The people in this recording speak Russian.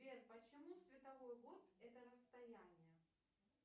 сбер почему световой год это расстояние